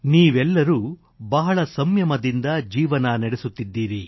ನೀವೆಲ್ಲರೂ ಬಹಳ ಸಂಯಮದಿಂದ ಜೀವನ ನಡೆಸುತ್ತಿದ್ದೀರಿ